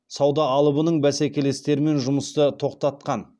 сауда алыбының бәсекелестерімен жұмысты тоқтатқан